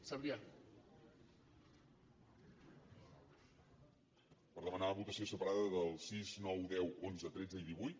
per demanar votació separada del sis nou deu onze tretze i divuit